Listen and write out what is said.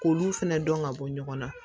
K'olu fɛnɛ dɔn ka bɔ ɲɔgɔn na